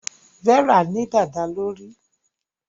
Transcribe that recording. Vera ní dada lórí.